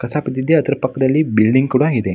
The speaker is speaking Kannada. ಕಸ ಬಿದ್ದಿದೆ ಅದರ ಪಕ್ಕದಲ್ಲಿ ಬಿಲ್ಡಿಂಗ್ ಕೂಡ ಇದೆ.